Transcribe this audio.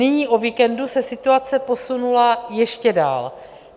Nyní o víkendu se situace posunula ještě dál.